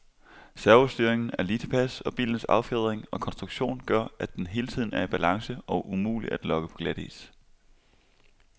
Servostyringen er lige tilpas, og bilens affjedring og konstruktion gør, at den hele tiden er i balance og umulig at lokke på glatis.